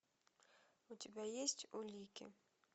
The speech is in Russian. у тебя есть улики